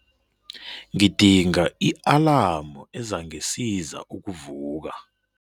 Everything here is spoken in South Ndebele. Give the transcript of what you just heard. Ngidinga i-alamu ezangisiza ukuvuka.